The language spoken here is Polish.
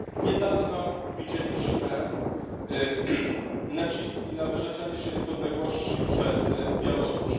Niedawno widzieliśmy naciski na wyrzeczenie się niepodległości przez Białoruś.